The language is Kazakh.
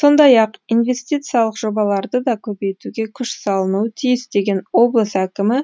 сондай ақ инвестициялық жобаларды да көбейтуге күш салынуы тиіс деген облыс әкімі